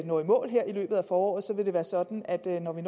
når i mål her i løbet af foråret vil det være sådan at når vi